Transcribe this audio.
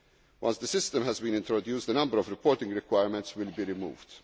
data. Once the system has been introduced, a number of reporting requirements will be